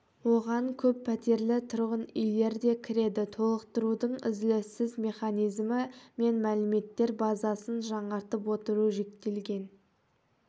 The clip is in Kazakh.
оған көппәтерлі тұрғын үйлер де кіреді толықтырудың үзіліссіз механизмі мен мәліметтер базасын жаңартып отыру жүктелген